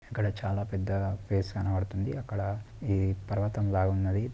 ఇక్కడ చాలా పెద్దగా స్పేస్ కనపడుతుంది. అక్కడ అ పర్వతం లాగా ఉన్నది